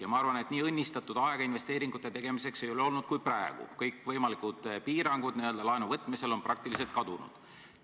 Ja ma arvan, et nii õnnistatud aega investeeringute tegemiseks kui praegu ei ole varem olnud – kõikvõimalikud piirangud laenu võtmisel on sama hästi kui kadunud.